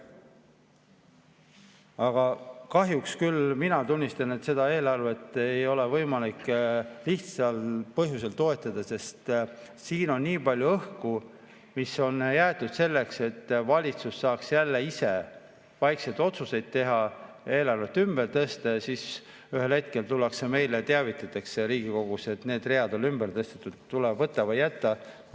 Aga kahjuks küll pean tunnistama, et seda eelarvet ei ole võimalik toetada lihtsal põhjusel: siin on nii palju õhku, mis on siia jäetud selleks, et valitsus saaks jälle ise vaikselt otsuseid teha, eelarvet ümber tõsta, siis ühel hetkel tullakse meile Riigikogusse ja teavitatakse, et need read on ümber tõstetud, tuleb võtta või jätta.